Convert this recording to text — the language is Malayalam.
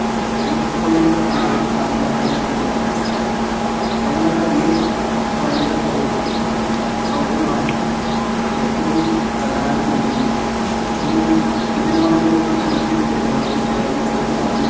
UNESCO യുടെ പട്ടികയിൽ തജുമഹൽനെ പെടുത്തി വെണ്ണക്കല്ലിൽ പണിത സൗ സൗദമാണ് ഏറ്റവും പ്രധാനമെങ്കിലും ഇതിന് ഇതിനോടനുബന്ധിച്ച് മറ്റ് കെട്ടിടങ്ങളും ചേർന്ന് ഒരു സമു